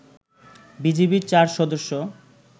বিজিবির ৪ সদস্য